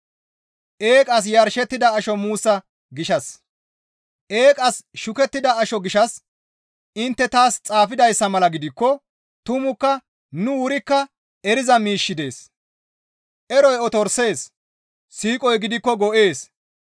Eeqas shukettida asho gishshas intte taas xaafidayssa mala gidikko tumukka nu wurikka eriza miishshi dees; eroy otorisees; siiqoy gidikko go7ees.